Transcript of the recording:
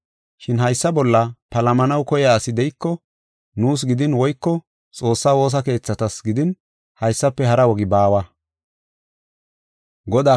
Shin haysa bolla palamanaw koya asi de7iko, nuus gidin woyko Xoossa woosa keethatas gidin haysafe hara wogi baawa.